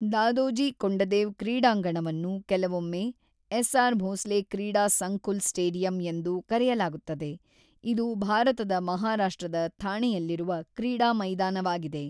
ದಾದೋಜಿ ಕೊಂಡದೇವ್ ಕ್ರೀಡಾಂಗಣವನ್ನು ಅನ್ನು ಕೆಲವೊಮ್ಮೆ ಎಸ್‌ಆರ್ ಭೋಸ್ಲೆ ಕ್ರೀಡಾ ಸಂಕುಲ್ ಸ್ಟೇಡಿಯಂ ಎಂದು ಕರೆಯಲಾಗುತ್ತದೆ, ಇದು ಭಾರತದ ಮಹಾರಾಷ್ಟ್ರದ ಥಾಣೆಯಲ್ಲಿರುವ ಕ್ರೀಡಾ ಮೈದಾನವಾಗಿದೆ.